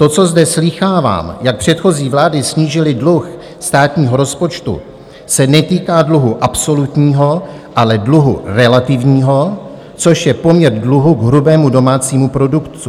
To, co zde slýchávám, jak předchozí vlády snížily dluh státního rozpočtu, se netýká dluhu absolutního, ale dluhu relativního, což je poměr dluhu k hrubému domácímu produktu.